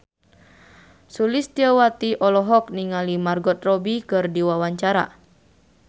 Sulistyowati olohok ningali Margot Robbie keur diwawancara